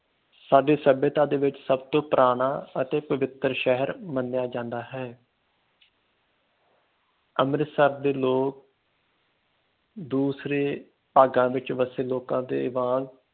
ਸਾਡੇ ਸਭਏਤਾ ਦੇ ਵਿਚ ਸਭ ਤੋਂ ਪੁਰਾਣਾ ਅਤੇ ਪਵਿੱਤਰ ਸ਼ਹਿਰ ਮਨਿਯਾ ਜਾਂਦਾ ਹੈ ਅੰਮ੍ਰਿਤਸਰ ਦੇ ਲੋਕ ਦੂਸਰੇ ਭਾਗਾਂ ਵਿਚ ਵਸੇ ਲੋਕਾਂ ਦੇ ਵਾਂਗ